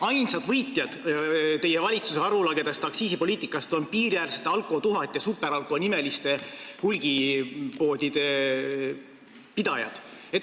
Ainsad võitjad teie valitsuse arulagedast aktsiisipoliitikast on piiriäärsete Alko1000- ja SuperAlko-nimeliste hulgipoodide pidajad.